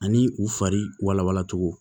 Ani u farilawala cogo